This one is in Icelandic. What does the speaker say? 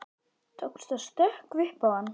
Tókst að stökkva upp í hann.